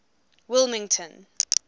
wilmington